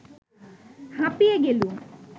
হাঁপিয়ে গেলুম